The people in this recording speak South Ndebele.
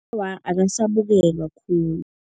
Awa, akasabukelwa khulu.